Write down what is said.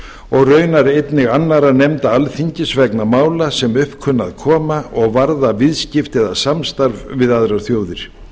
og raunar einnig annarra nefnda alþingis vegna mála sem upp kunna að koma og varða viðskipti eða samstarf við aðrar þjóðir